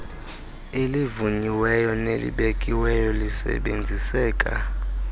elivunyiweyo nelibekiweyo lisebenziseka